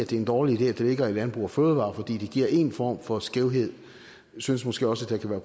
det er en dårlig idé at det ligger i landbrug fødevarer fordi det giver en form for skævhed synes måske også det kan være